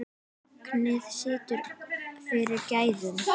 Magnið situr fyrir gæðum.